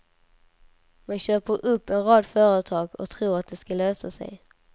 Man köper upp en rad företag och tror att det ska lösa sig.